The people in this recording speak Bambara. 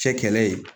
Cɛ kɛlɛ ye